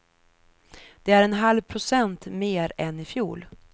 Det är en halv procent mer än i fjol.